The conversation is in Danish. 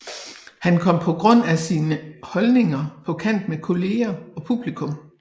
Han kom på grund af sine holdninger på kant med kolleger og publikum